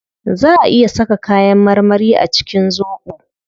Zaa a iya saka kayan marmari a cikin zobo